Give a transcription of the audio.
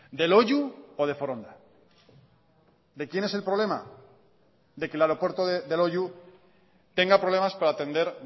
de loiu o de foronda de quién es el problema de que el aeropuerto de loiu tenga problemas para atender